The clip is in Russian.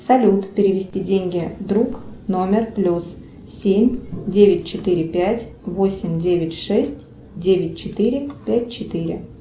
салют перевести деньги друг номер плюс семь девять четыре пять восемь девять шесть девять четыре пять четыре